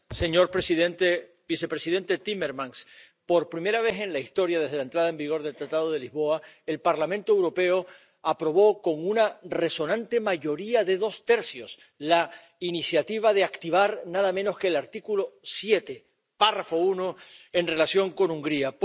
Señor presidente, vicepresidente Timmermans, por primera vez en la historia desde la entrada en vigor del Tratado de Lisboa, el Parlamento Europeo aprobó con una resonante mayoría de dos tercios la iniciativa de activar nada menos que el artículo 7, apartado 1, en relación con Hungría.